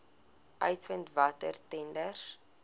uitvind watter tenders